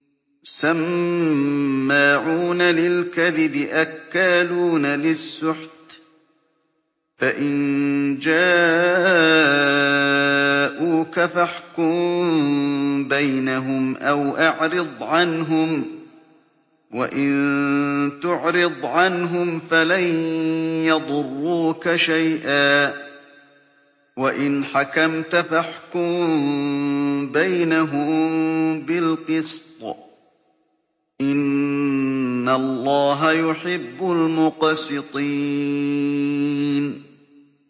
سَمَّاعُونَ لِلْكَذِبِ أَكَّالُونَ لِلسُّحْتِ ۚ فَإِن جَاءُوكَ فَاحْكُم بَيْنَهُمْ أَوْ أَعْرِضْ عَنْهُمْ ۖ وَإِن تُعْرِضْ عَنْهُمْ فَلَن يَضُرُّوكَ شَيْئًا ۖ وَإِنْ حَكَمْتَ فَاحْكُم بَيْنَهُم بِالْقِسْطِ ۚ إِنَّ اللَّهَ يُحِبُّ الْمُقْسِطِينَ